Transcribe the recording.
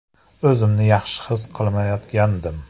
O‘zimni yaxshi his qilmayotgandim.